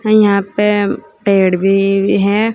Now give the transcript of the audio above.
यहां पे पेड़ भी है।